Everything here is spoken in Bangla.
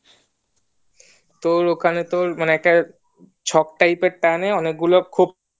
তোর ওখানে তোর মানে ছক typer একটা টানে অনেক গুলো খোপ